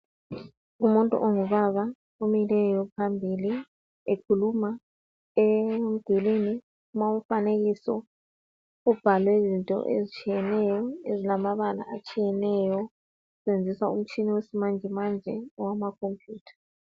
Umuntu ongubaba omileyo phambili ekhuluma emdulini kulomfanekiso ubhalwe izinto ezitshiyeneyo ezilamabala atshiyeneyo kutshengiswa umtshina wesimanjemanje owamacomputer.